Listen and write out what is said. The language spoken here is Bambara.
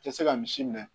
Tɛ se ka misi minɛ